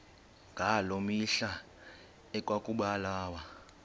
ngaloo mihla ekwakubulawa